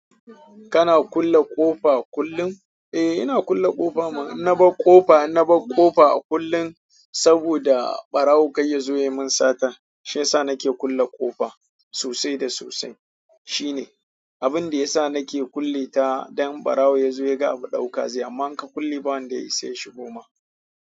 Kana kulle ƙofa kullum? Eh, ina kulle ƙofa mana. Na bar ƙofa, na bar ƙofa kullum saboda ɓarawo kai yazo ya min sata. Shiyasa nake kulle ƙofa sosai da sosai. Shine abinda yasa nake kulle ta don ɓarawo yazo ya ga abu ɗauka zai. Amma in ka kulle ba wanda ya isa ya shigoma.